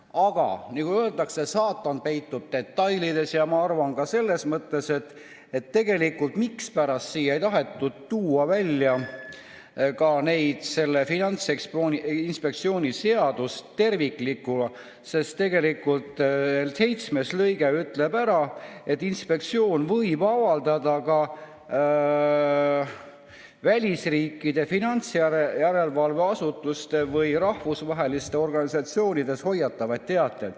Aga nagu öeldakse, saatan peitub detailides, ja ma arvan, et põhjus, mispärast ei tahetud tuua välja Finantsinspektsiooni seadust terviklikuna, on selles, et tegelikult seitsmes lõige ütleb ära, et inspektsioon võib avaldada ka välisriikide finantsjärelevalve asutuste või rahvusvaheliste organisatsioonide hoiatavaid teateid.